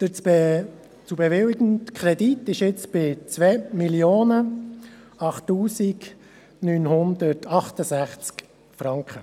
Der zu bewilligende Kredit beläuft sich jetzt auf 2 008 968 Franken.